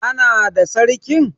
Ã nada sarkin!